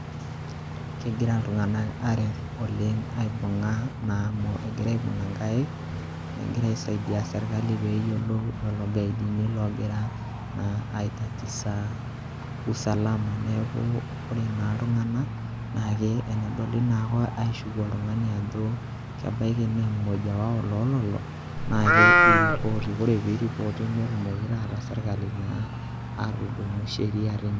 Kegira iltung'anak aret oleng' aibung'a naa amu egira aibung'a inkaik, negira aisaidia sirkali pee eyolou lelo gaidini ogira aitatisa usalama. Neeku ore naa iltung'anak naake enedoli naake oltung'ani aishuku ajo kebaiki naa mmoja wao lo lelo naake iripoti, ore piiripoti netumoki taata sirkali naa atudumu sheria teine.